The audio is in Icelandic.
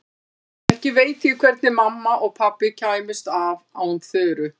Ekki veit ég hvernig mamma og pabbi kæmust af án Þuru.